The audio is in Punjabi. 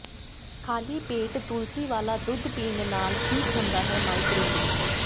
ਖ਼ਾਲੀ ਪੇਟ ਤੁਲਸੀ ਵਾਲਾ ਦੁੱਧ ਪੀਣ ਨਾਲ ਠੀਕ ਹੁੰਦਾ ਹੈ ਮਾਈਗ੍ਰੇਨ